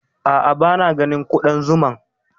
A'a, ba na ganin Ƙuɗan zuman